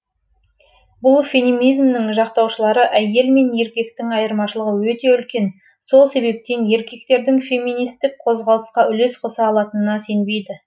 бұл феминизмнің жақтаушылары әйел мен еркектің айырмашылығы өте үлкен сол себептен еркектердің феминистік қозғалысқа үлес қоса алатынына сенбейді